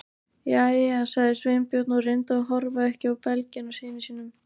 Jæja- sagði Sveinbjörn og reyndi að horfa ekki á belginn á syni sínum.